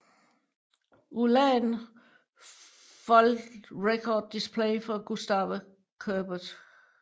ULAN Full Record Display for Gustave Courbet